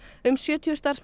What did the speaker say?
um sjötíu starfsmenn